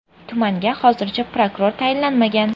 Tumanga hozircha prokuror tayinlanmagan.